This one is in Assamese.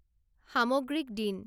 সামগ্রিক দিন